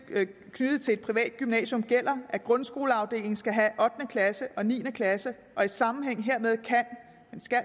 knyttet til et privat gymnasium gælder at grundskoleafdelingen skal have ottende klasse og niende klasse og i sammenhæng hermed kan